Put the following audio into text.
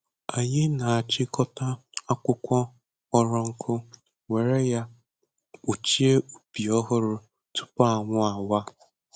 Anyị na-achịkọta akwụkwọ kpọrọ nkụ were ya kpuchie ubi ọhụrụ tupu anwụ awa.